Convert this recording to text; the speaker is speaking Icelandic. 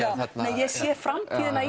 ég sé framtíðina